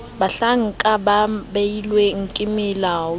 bahlanka ba beilweng ke molaodi